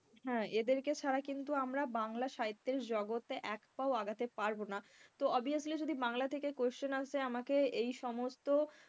হ্যাঁ এদেরকে ছাড়া কিন্তু আমরা বাংলা সাহিত্যের জগতে একপাও আগাতে পারবো না। তো obviously যদি বাংলা থেকে question আসে আমাকে এই সমস্ত,